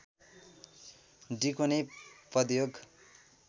डिको नै पदयोग